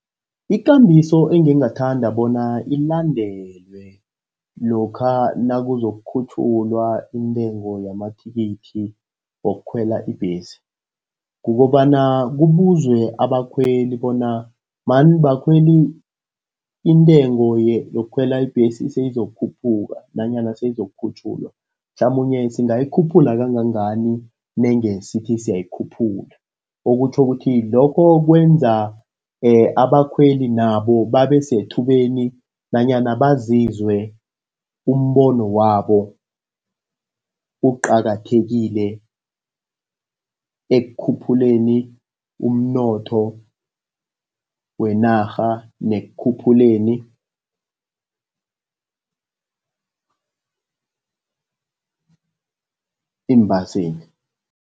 Ikambiso engingathanda bona ilandelwe lokha nakuzokukhutjhulwa intengo yamathikithi wokukhwela ibhesi, kukobana kubuzwe abakhweli bona, mani bakhweli intengo yokukhwela ibhesi seyizokukhuphuka, nanyana seyizokukhutjhulwa. Mhlamunye singayikhuphula kangangani nange sithi siyayikhuphula? Okutjho ukuthi lokho kwenza abakhweli nabo babe sethubeni nanyana bazizwe umbono wabo uqakathekile ekukhuphuleni umnotho wenarha nekukhuphuleni iimbaseli.